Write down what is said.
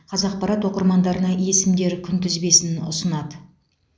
қазақпарат оқырмандарына есімдер күнтізбесін ұсынады